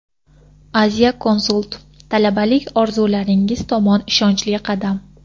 Asia Consult: talabalik orzularingiz tomon ishonchli qadam.